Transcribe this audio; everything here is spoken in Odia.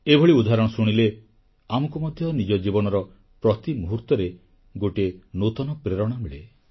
ଏଭଳି ଉଦାହରଣ ଶୁଣିଲେ ଆମକୁ ମଧ୍ୟ ନିଜ ଜୀବନର ପ୍ରତି ମୁହୂର୍ତ୍ତରେ ଗୋଟିଏ ନୂତନ ପ୍ରେରଣା ମିଳେ